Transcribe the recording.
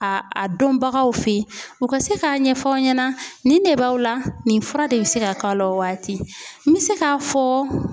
A a dɔnbagaw fe yen u ka se k'a ɲɛfɔ aw ɲɛna nin de b'aw la nin fura de bɛ se ka k'a la o waati n bɛ se k'a fɔ